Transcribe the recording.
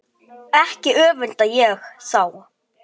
Ekki öfunda ég þá